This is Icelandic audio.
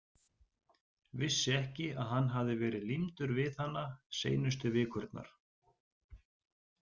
Vissi ekki að hann hafði verið límdur við hana seinustu vikurnar.